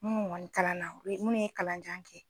Munu kɔni kalan na, minnu ye kalan jan kɛ